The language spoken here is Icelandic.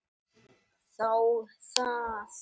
Þá það.